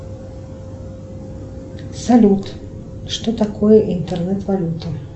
салют что такое интернет валюта